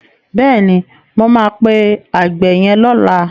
Bẹ́ẹ̀ni, mo máa pe àgbẹ̀ yẹn lọ́la.